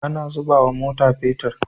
Ana zubawa mota petir